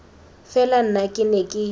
fela nna ke ne ke